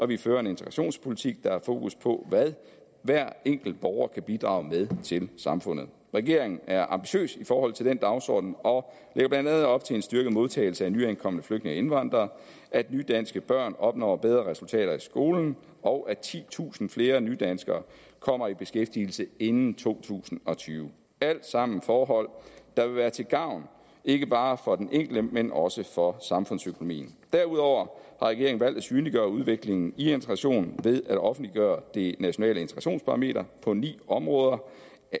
vi fører en integrationspolitik der har fokus på hvad hver enkelt borger kan bidrage med til samfundet regeringen er ambitiøs i forhold til den dagsorden og lægger blandt andet op til en styrket modtagelse af nyankomne flygtninge og indvandrere at nydanske børn opnår bedre resultater i skolen og at titusind flere nydanskere kommer i beskæftigelse inden to tusind og tyve alt sammen forhold der vil være til gavn ikke bare for den enkelte men også for samfundsøkonomien derudover har regeringen valgt at synliggøre udviklingen i integrationen ved at offentliggøre det nationale integrationsparameter på ni områder